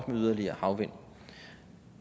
med yderligere havvind